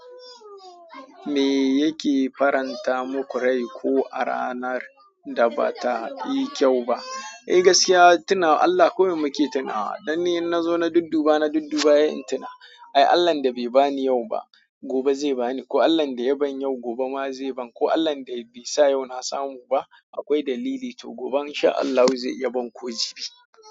Me yake faranta muku rai ko a ranar da ba ta yi kyau ba? Eh gaskiya, tunawa Allah. Kurum muke tuna. Dan ni in na zo na dudduba, na dudduba yay in tuna. "Ai Allah'n da bai bani yau ba, gobe zai bani." Ko, "Allah'n da ya ban yau, gobe ma zai ban." Ko, "Allah'n da bai sa yau na samu ba, akwai dalili. To gobe in sha Allah zai iya ban ko jibi."